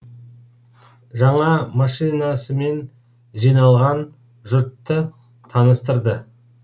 жаңа машинасымен жиналған жұртты таныстырды